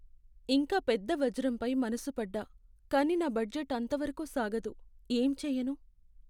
ఇంకా పెద్ద వజ్రంపై మనసుపడ్డా! కానీ నా బడ్జెట్ అంతవరకు సాగదు, ఏం చేయను!